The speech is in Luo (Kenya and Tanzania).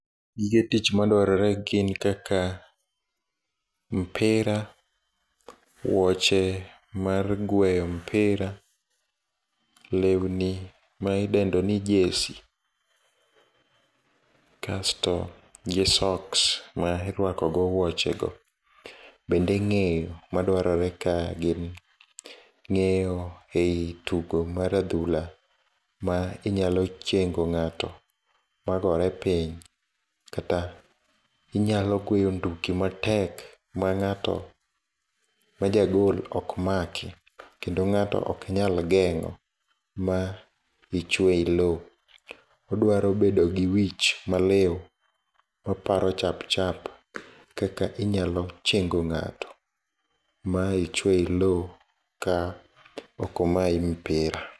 Gige tich ma dwarore gin kaka mpira, wuoche mar gweyo mpira, lewni ma idendo ni jersey, kasto gi socks ma irwakogo wuoche go, bende ng'eyo ma dwarore kae gin ng'eyo ei tugo mar adhula ma inyalochengo ng'ato ma gore piny kata inyalogoyo nduki matek ma ng'ato ma ja goal okmaki kendo ng'ato oknyal geng'o ma ichwe ilo, odwaro bedo gi wich maliw maparo chapchap kaka inyalochengo ng'ato ma ichwe iloo ma okomayi mpira.